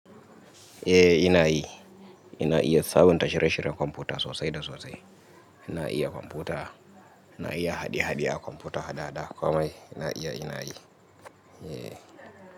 Eh, ina yi. Ina iya sabon tasharashin kwamfuta sosai da sosai. Ina iya kwamfuta. Ina iya hade-hade a kwamfuta hada-hada. Komai na iya, ina yi. E.